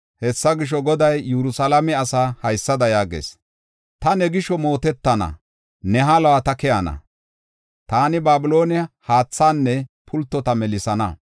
Hessa gisho, Goday Yerusalaame asaa haysada yaagees: “Ta ne gisho mootetana; ne haluwa ta keyana. Taani Babiloone haathaanne pultota melisana.